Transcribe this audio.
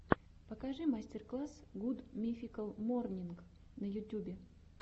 покажи мастер класс гуд мификал морнинг на ютюбе